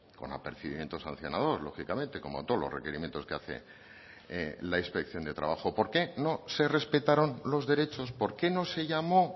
con apercibimiento sancionador lógicamente como todos los requerimientos que hace la inspección de trabajo por qué no se respetaron los derechos por qué no se llamó